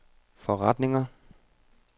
forretninger